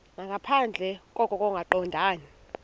nangaphandle koko kungaqondani